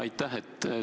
Aitäh!